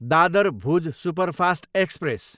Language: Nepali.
Dadar, Bhuj superfast express